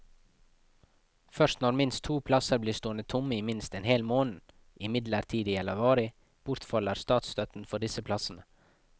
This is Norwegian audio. Først når minst to plasser blir stående tomme i minst en hel måned, midlertidig eller varig, bortfaller statsstøtten for disse plassene.